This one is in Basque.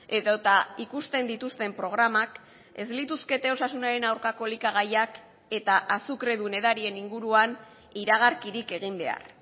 edota ikusten dituzten programak ez lituzkete osasunaren aurkako elikagaiak eta azukredun edarien inguruan iragarkirik egin behar